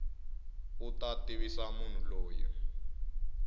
u ta tivisa munhu loyi